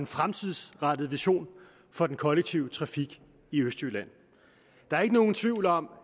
fremtidsrettet vision for den kollektive trafik i østjylland der er ikke nogen tvivl om